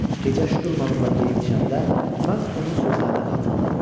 Gecə şturmanımla yeyib-içəndə mən onun sözlərini xatırladım.